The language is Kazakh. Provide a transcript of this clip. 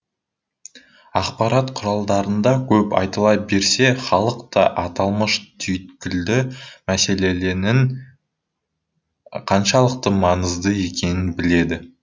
ақпарат құралдарында көп айтыла берсе халықта аталмыш түйткілді мәселеленің қаншалықты маңызды екенін біледі